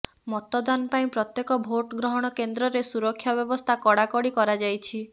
ମତଦାନ ପାଇଁ ପ୍ରତ୍ୟେକ ଭୋଟ୍ ଗ୍ରହଣ କେନ୍ଦ୍ରରେ ସୁରକ୍ଷା ବ୍ୟବସ୍ଥା କଡାକଡି କରାଯାଇଛି